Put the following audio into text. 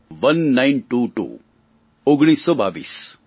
ઓને nine two two ઓગણીસસો બાવીસ